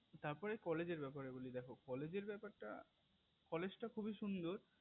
তার পরে college এর ব্যাপারে বলি দেখো college টা খুবই সুন্দর